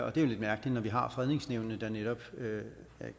og det er jo lidt mærkeligt når vi har fredningsnævnene der netop